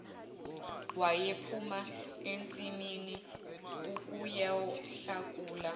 wayephuma ensimini ukuyohlakulela